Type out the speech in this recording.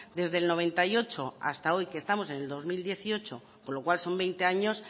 desde el noventa y ocho hasta hoy que estamos en el dos mil dieciocho con lo cual son veinte años